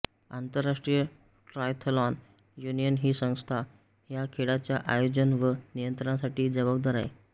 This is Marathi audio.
आंतरराष्ट्रीय ट्रायथलॉन युनियन ही संस्था ह्या खेळाच्या आयोजन व नियंत्रणासाठी जबाबदार आहे